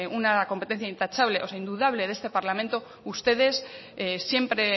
una competencia intachable o indudable de este parlamento ustedes siempre